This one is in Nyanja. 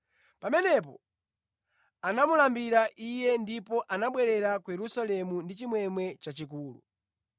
Pamenepo anamulambira Iye ndipo anabwerera ku Yerusalemu ndi chimwemwe chachikulu.